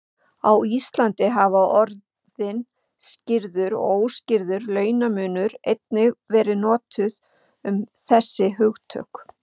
Á Íslandi hafa orðin skýrður og óútskýrður launamunur einnig verið notuð um þessi hugtök.